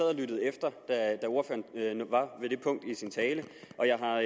og lyttede efter da ordføreren var ved det punkt i sin tale og jeg har